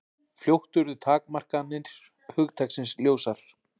Fljótt urðu takmarkanir hugtaksins ljósar.